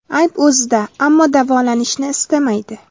Ayb o‘zida, ammo davolanishni istamaydi.